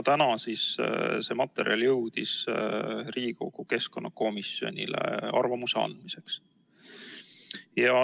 Täna jõudis see materjal Riigikogu keskkonnakomisjoni arvamuse andmiseks.